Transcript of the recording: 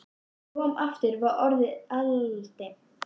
Þegar hann kom aftur var orðið aldimmt.